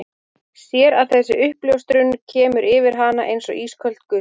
Sér að þessi uppljóstrun kemur yfir hann eins og ísköld gusa.